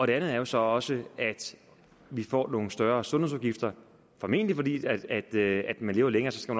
det andet er så også at vi får nogle større sundhedsudgifter formentlig fordi vi lever længere skal